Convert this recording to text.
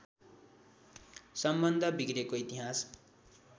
सम्बन्ध बिग्रेको इतिहास